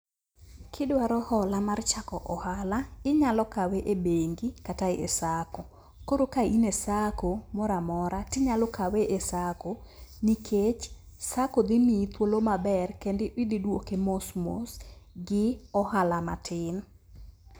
Kidwaro hola mar chako ohala, inyalo kawe e bengi kata e SACCO. Koro ka in e SACCO moro amora to inyalo kawe e SACCO nikech SACCO dhi miyi thuolo maber kendo idhi duoke mos mos gi ohala matin.